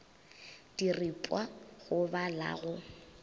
diripwa go ba la go